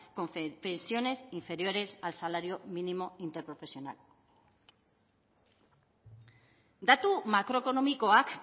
con pensiones inferiores al salario mínimo interprofesional datu makroekonomikoak